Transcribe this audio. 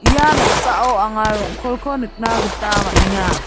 ia noksao anga rong·kolko nikna gita man·enga.